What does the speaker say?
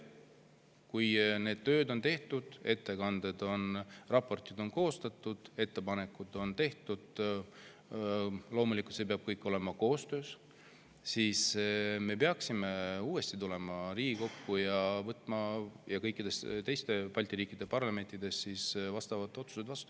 Kui need tööd on tehtud, ettekanded ja raportid on koostatud, ettepanekud on tehtud, mis loomulikult peab kõik toimuma koostöös, siis me peaksime uuesti Riigikogus ja kõikide teiste Balti riikide parlamentides võtma vastavad otsused vastu.